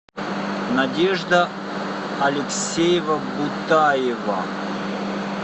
надежда алексеева бутаева